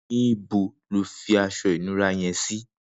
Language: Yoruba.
Nibò ló fi aṣọ inùrá yèn si?